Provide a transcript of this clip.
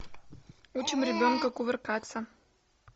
учим ребенка кувыркаться